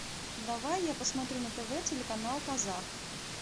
давай я посмотрю на тв телеканал казах